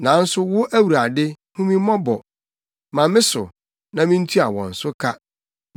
Nanso wo, Awurade, hu me mmɔbɔ; ma me so, na mintua wɔn so ka.